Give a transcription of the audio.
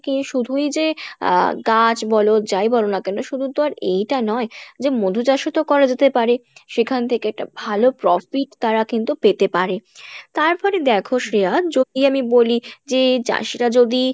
শুধুই যে আহ গাছ বলো যাই বলো না কেনো শুধু টা আর এইটা নয় যে মধু চাষ ও তো করা যেতে পারে সেখান থেকে একটা ভালো profit তারা কিন্তু পেতে পারে তারপরে দেখো শ্রেয়া যদি আমি বলি যে চাষীরা যদি